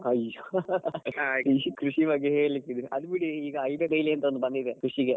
ಅಯ್ಯೋ .ಈ ಕೃಷಿ ಬಗ್ಗೆ ಹೇಳಿದ್ರೆ ಅದ್ ಬಿಡಿ ಈಗ IBF ಬೇಲಿ ಅಂತ ಬಂದಿದೆ ಕೃಷಿಗೆ.